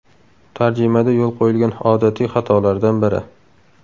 Tarjimada yo‘l qo‘yilgan odatiy xatolardan biri.